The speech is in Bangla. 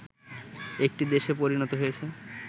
একটি দেশে পরিণত হয়েছে